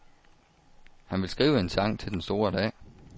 Han vil skrive en sang til den store dag.